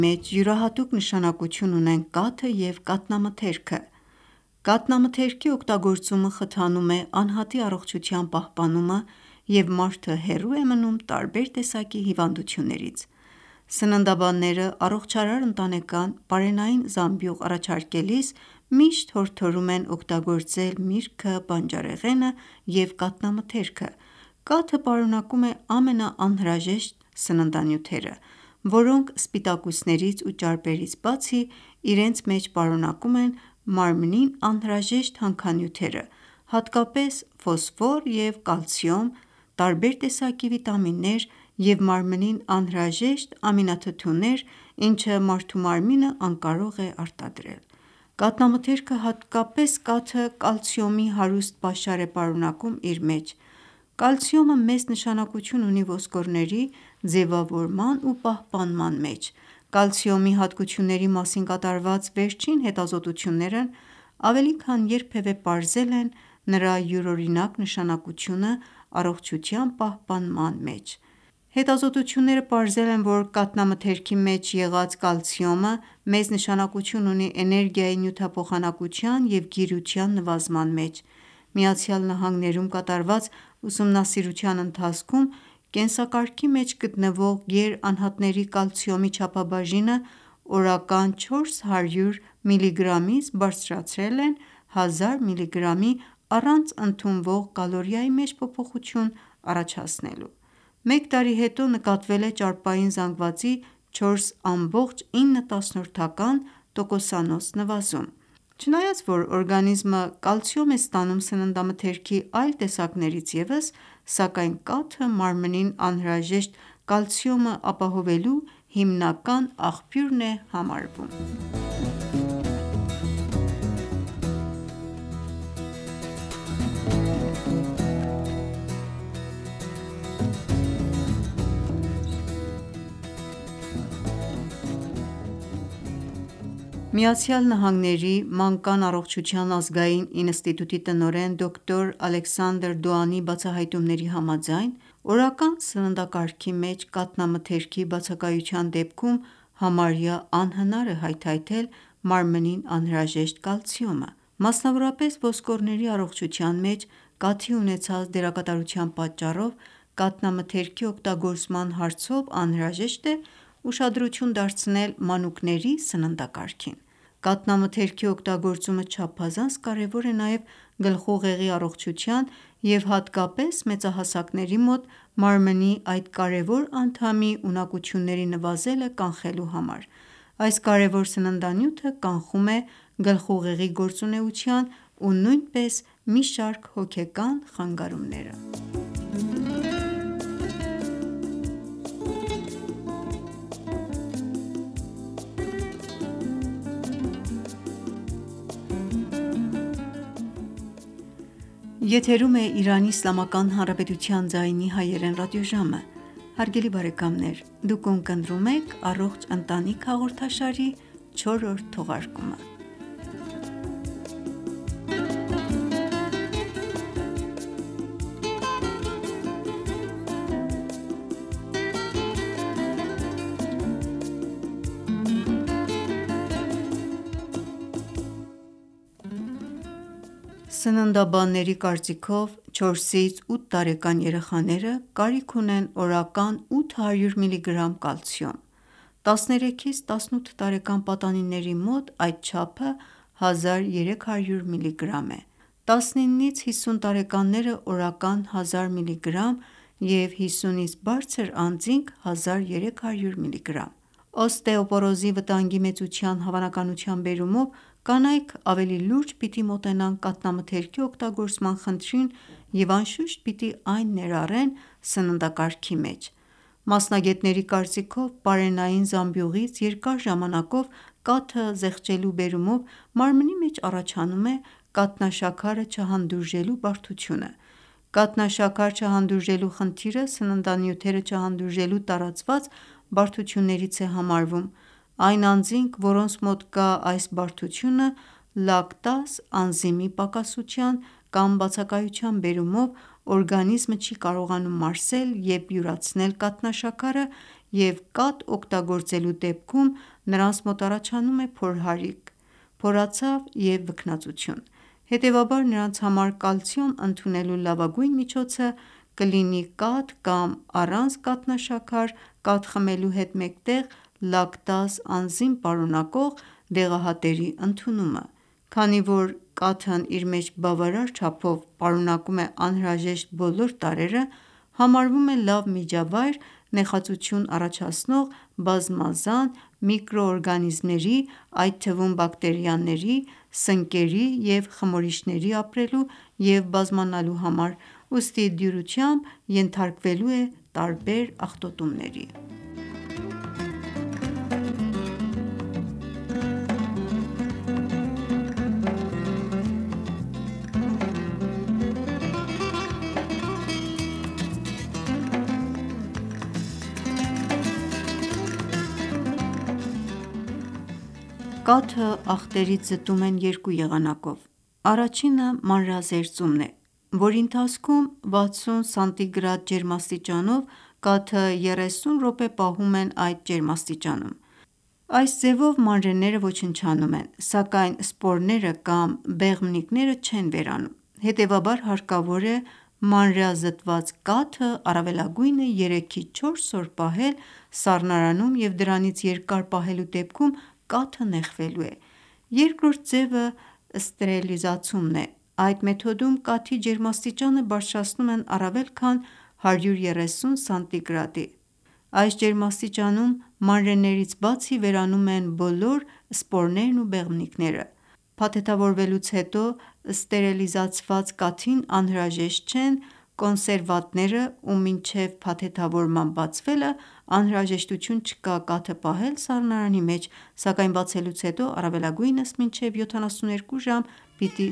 մեջ յուրահատուկ նշանակություն ունեն կաթը և կաթնամթերքը: Կաթնամթերքի օգտագործումը խթանում է անհատի առողջության պահպանումը և մարդը հեռու է մնում տարբեր տեսակի հիվանդություններից: Սննդաբանները առողջարար ընտանեկան պարենային զամբյուղ առաջարկելիս, միշտ հորդորում են իրար հետ օգտագործել միրգը, բանջարեղենը և կաթնամթերքը: Կաթը պարունակում է ամենաանհրաժեշտ սննդանյութերը, որոնք սպիտակուցներից ու ճարպերից բացի, իրենց մեջ պարունակում են մարմին անհրաժեշտ հանքանյութերը հատկապես՝ ֆոսֆոր և կալցիում, տարբեր տեսակի վիտամիններ և մարմին անհրաժեշտ ամինաթթուներ, ինչը մարդու մարմինը անկարող է արտադրել: Կաթնամթերքը հատկապես կաթը կալցիումի հարուստ պաշար է պարունակում իր մեջ: Կալիցիումը մեծ նշանակություն ունի ոսկորների ձևավորման ու պահպանման մեջ: Կալցիումի հատկությունների մասին կատարված վերջին հետազոտությունները ավելի քան երբևե պարզել են նրա յուրօրինակ նշանակությունը առողջության պահպանման մեջ: Հետազոտությունները պարզել են, որ կաթնամթերքի մեջ եղած կալցիումը մեծ նշանակություն ունի էներգիայի նյութափոխանակության և գիրության նվազեցման մեջ: ԱՄՆ-ում կատարված ուսումնասիրության ընթացքում կենսակարգի մեջ գտնվող գեր անհատների կալցիումի չափաբաժինը օրական 400 միլիգրամից բարձրացրել են 1000 միլիգրամի՝ առանց ընդունվող կալորիայի մեջ փոփոխություն առաջացնելու: Մեկ տարի հետո նկատվել է ճարպային զանգվածի 4.9 տոկոսանուց նվազում: Չնայած որ օրգանիզմը կալցիում է ստանում սննդամթերքի այլ տեսակներից ևս, սակայն կաթը մարմնին անհրաժեշտ կալցիումը ապահովելու հիմնական աղբյուրն է համարվում: ԱՄՆ-ի մանկան առողջության ազգային ինստիտուտի տնօրեն Դոկտ. Ալեքսանդր Դոանի բացահայտումների համաձայն, օրական սննդակարգի մեջ կաթնամթերքի բացակայության դեպքում համարյա անհնար է հայթայթել մարմնին անհրաժեշտ կալցիումը: Մասնավորապես ոսկորների առողջության մեջ կաթի ունեցած դերակատարության պատճառով կաթնամթերքի օգտագործման հարցով անհրաժեշտ է ուշադրություն դարձնել մանուկների սննդակարգին: Կաթնամթերքի օգտագործումը չափազանց կարևոր է նաև գլխուղեղի առողջության և հատկապես մեծահասակների մոտ մարմնի այդ կարևոր անդամի ունակությունների նվազելը կանխելու համար: Այս կարևոր սննդանյութը կանխում է գլխուղեղի գործունեության ու նույնպես մի շարք հոգեկան խանգարումները: Սննդաբանների կարծիքով 4-8 տարեկան երեխաները կարիք ունեն օրական 800 մգ. կալցիում, 13-18 տարեկան պատանիների մոտ այդ չափը 1300մգ. է, 19-50 տարեկանները՝ օրական 1000մգ. և 50-ից բարձր անձինք՝ 1300մգ.: Օստեոպորոզի վտանգի մեծության հավանականության բերումով կանայք ավելի լուրջ պիտի մոտենան կաթնամթերքի օգտագործման խնդրին և անշուշտ պիտի այն ներառեն սննդակարգի մեջ: Մասնագետների կարծիքով պարենային զամբյուղից երկար ժամանակով կաթը զեղչելու բերումով մարմնի մեջ առաջանում է կաթնաշաքարը չհանդուրժելու բարդությունը: Կաթնաշաքար չհանդուրժելու խնդիրը սննդանյութերը չհանդուրժելու տարածված բարդություններից է համարվում: Այն անձինք, որոնց մոտ կա այս բարդությունը լակտազ անզիմի պակասության կամ բացակայության բերումով օրգանիզմը չի կարողանում մարսել և յուրացնել կաթնաշաքարը և կաթ օգտագործելու դեպքում նրանց մոտ առաջանում է փորհարիք, փորացավ և վքնածություն: Հետևաբար նրանց համար կալցիում ընդունելու լավագույն միջոցը կլինի կաթ կամ առանց կաթնաշաքար կաթ խմելու հետ մեկտեղ լակտազ անզիմ պարունակող դեղահատերի ընդունումը: Քանի որ կաթն իր մեջ բավարար չափով պարունակում է անհրաժեշտ բոլոր տարրերը, համարվում է լավ միջավայր նեխածություն առաջացնող բազմազան միկրոօրգանիզմների այդ թվում՝ բակտերիաների, սնկերի և խմորիչների ապրելու և բազմանալու համար, ուստի դյուրությամբ ենթարկվելու է տարբեր աղտոտումների: Կաթը աղտերից զտում են երկու եղանակով՝ առաջինը՝ մանրեազերծումն է, որի ընթացքում 60 սանտիգրադ ջերմաստիճանով կաթը 30 րոպե պահում են այդ ջերմաստիճանում: Այս ձևը մանրեները ոչնչանում են, սակայն սպորները կամ բեղմնիկները չեն վերանում: Հետևաբար հարկավոր է մանրեազտված կաթը առավելագույնը 3-4 օր պահել սառնարանում և դրանից երկար պահելու դեպքում կաթը նեխվելու է: Երկրորդ ձևը ստերիլիզացումն է: Այդ մեթոդում կաթի ջերմաստիճանը բարձրացնում են առավել քան 130 սանտիգրադի: Այս ջերմաստիճանում մանրեներից բացի, վերանում են բոլոր սպորներն ու բեղմնիկները: Փաթեթավորվելուց հետո Ստերելիզացված կաթին անհրաժեշտ չեն կոնսերվանտները ու մինչև փաթեթավորման բացվելը անհրաժեշտություն չկա կաթը պահել սառնարանի մեջ, սակայն բացելուց հետո առավելագույնս մինչև 72 ժամ պիտի